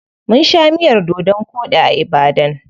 Mun sha miyar dodon koɗi a Ibadan.